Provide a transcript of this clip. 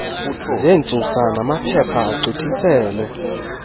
zentsusa namaphepha agqithiselwe